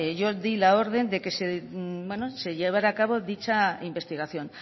yo di la orden de que se llevara a cabo dicha investigación